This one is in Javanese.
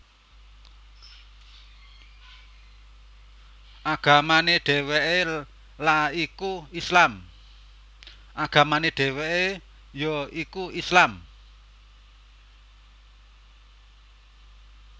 Agamane dheweke ya iku Islam